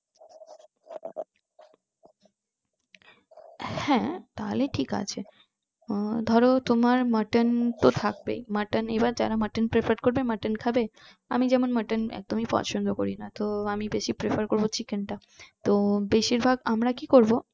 হ্যাঁ তাহলে ঠিক আছে আহ ধরো তোমার mutton তো থাকবেই mutton আবার জাত mutton prefer করবে mutton খাবে আমি যেমন mutton একদমই পছন্দ করিনা তো আমি বেশি prefer করবো chicken টা তো বেশির ভাগ আমরা কি করবো